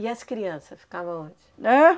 E as crianças ficavam onde? Ãh